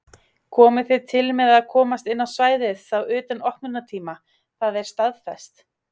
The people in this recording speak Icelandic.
Komið þið til með að komast inn á svæðið þá utan opnunartíma, það er staðfest?